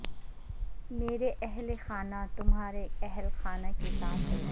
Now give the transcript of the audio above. میرے اہل خانہ تمہارے اہل خانہ کے ساتھ ہیں